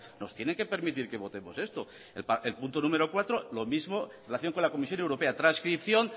nos tiene que permitir que votemos esto el punto número cuatro lo mismo en relación con la comisión europea transcripción